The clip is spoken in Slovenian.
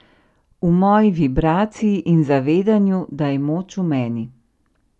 V moji vibraciji in zavedanju, da je moč v meni.